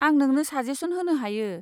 आं नोंनो साजेस'न होनो हायो।